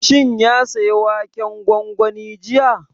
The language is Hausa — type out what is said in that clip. Shin ya saya waken gwangwani jiya?